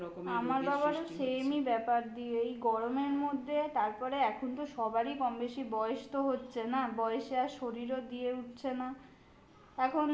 আমার বাবারও same ই ব্যাপার দিয়ে এই গরমের মধ্যে তারপরে এখন তো সবারই কমবেশি বয়স তো হচ্ছে না. বয়সে আর শরীরও দিয়ে উঠছে না